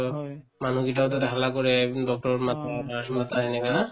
মানুহকেইটাও তাতে হাল্লা কৰে উম doctor ক মাতা nurse মাতা এনেকুৱা না